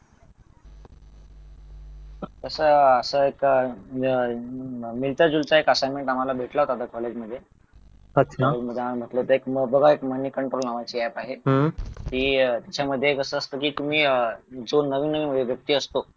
कसा असायचा अह मिळता जुळता एक असाइन्मेंट भेटला होता आम्हाला कॉलेजमध्ये बघा एक मनी कंट्रोल नावाची ऐप आहे ती त्याच्यामध्ये कसं असतं की तुम्ही जो नवीन नवीन व्यक्ती असतो